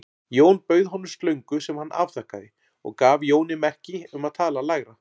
Jón bauð honum slöngu sem hann afþakkaði og gaf Jóni merki um að tala lægra.